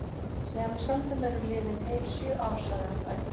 Síðan við sömdum eru liðin heil sjö ár, sagði hann dræmt.